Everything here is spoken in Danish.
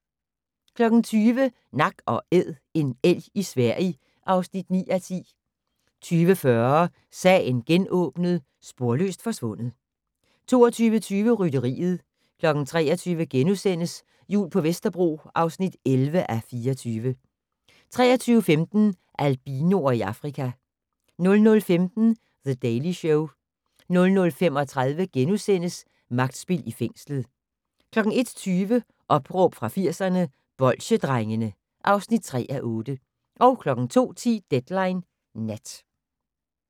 20:00: Nak & Æd - en elg i Sverige (9:10) 20:40: Sagen genåbnet: Sporløst forsvundet 22:20: Rytteriet 23:00: Jul på Vesterbro (11:24)* 23:15: Albinoer i Afrika 00:15: The Daily Show 00:35: Magtspil i fængslet * 01:20: Opråb fra 80'erne - Bolsjedrengene (3:8) 02:10: Deadline Nat